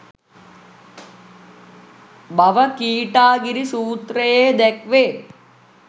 බව කීටාගිරි සූත්‍රයේ දැක්වේ.